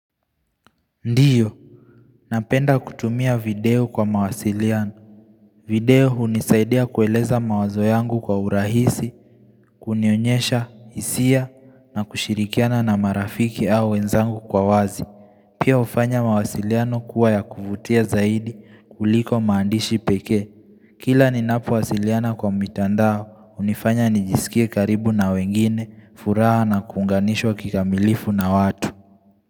Ndio, napenda kutumia video kwa mawasiliano video unisaidia kueleza mawazo yangu kwa urahisi, kunionyesha, hisia, na kushirikiana na marafiki au wenzangu kwa wazi Pia ufanya mawasiliano kuwa ya kuvutia zaidi kuliko maandishi pekee Kila ninapo wasiliana kwa mitandao, unifanya nijisikie karibu na wengine, furaha na kuunganishwa kikamilifu na watu.